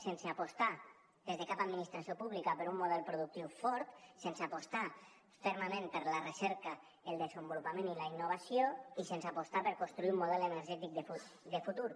sense apostar des de cap administració pública per un model productiu fort sense apostar fermament per la recerca el desenvolupament i la innovació i sense apostar per construir un model energètic de futur